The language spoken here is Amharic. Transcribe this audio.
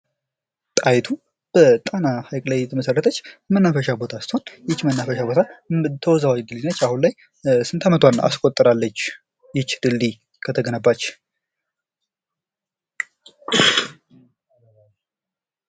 ጣይቱ በጣና ሐይቅ ላይ የተመሠረተች መናፈሻ ቦታ ስትሆን ይቺ መናፈሻ ቦታ ተወዛዋዥ ድልድይ ናት ። አሁን ላይ ስንት ዓመቷን አስቆጠራለች ይች ድልድይ ከተገነባች?